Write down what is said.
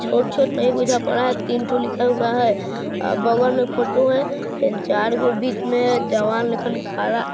छोट-छोट नहीं बुझा पर रहा है तीन ठो लिखा हुआ है बगल मे फोटो है फेन चार गो बीच मे जवान लेकिन खड़ा--